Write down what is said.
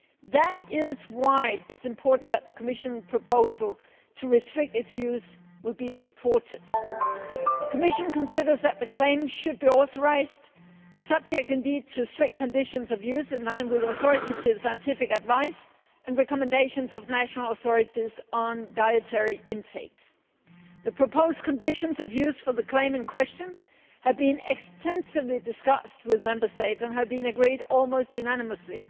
That is why it is important that the Commission proposal to restrict its use should be supported. The Commission considers that the claim should be authorised, subject indeed to strict conditions of use in line with authoritative scientific advice and recommendations of national authorities on dietary intake. The proposed conditions of use for the claim in question have been extensively discussed with Member States and have been agreed almost unanimously.